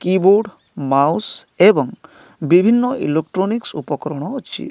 Keyboard mouse ଏବଂ ବିଭିନ୍ନ electronics ଉପକରଣ ଅଛି।